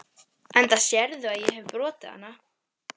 Gottskálk, stilltu niðurteljara á átta mínútur.